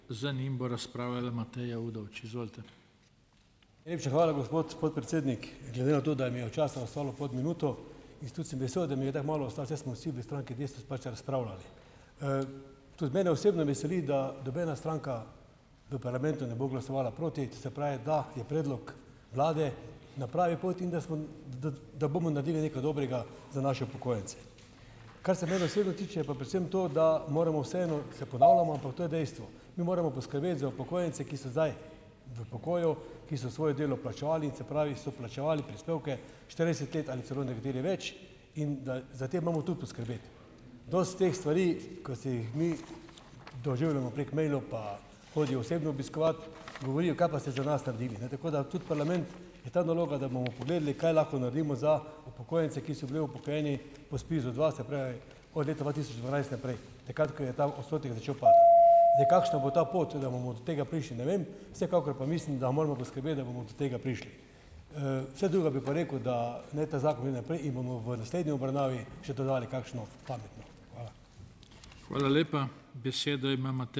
Najlepša hvala, gospod podpredsednik. Glede na to, da mi je časa ostalo pod minuto in tudi sem vesel, da mi je tako malo ostalo, saj smo vsi v stranki Desus pač razpravljali. Tudi mene osebno veseli, da nobena stranka v parlamentu ne bo glasovala proti, se pravi, da je predlog vlade na pravi poti in da smo da bomo naredili nekaj dobrega za naše upokojence. Kar se mene osebno tiče, pa predvsem to, da moramo vseeno, se ponavljamo, ampak to je dejstvo, mi moramo poskrbeti za upokojence, ki so zdaj v pokoju, ki so svoje delo plačevali in, se pravi, so plačevali prispevke štirideset let ali celo nekateri več in da, za te imamo tudi poskrbeti. Dosti teh stvari, ko se jih mi, doživljamo prek mailov pa hodijo osebno obiskovat, govorijo: "Kaj pa ste za nas naredili, ne?" Tako da tudi parlament, je ta naloga, da bomo pogledali, kaj lahko naredimo za upokojence, ki so bili upokojeni po Spiz-u dva, se pravi, od leta dva tisoč dvanajst naprej, takrat ko je ta odstotek začel Zdaj, kakšna bo ta pot, do tega prišli, ne vem, vsekakor pa mislim, da moramo poskrbeti, da bomo do tega prišli. Vse drugo bi pa rekel, da naj ta zakon gre naprej in bomo v naslednji obravnavi še dodali kakšno pametno. Hvala.